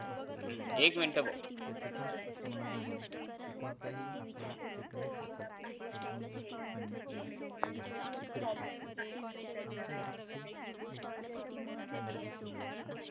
हम्म एक मिनटं भो